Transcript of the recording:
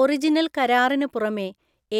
original കരാറിന് പുറമേ,